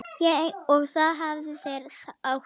Og það hafa þeir átt.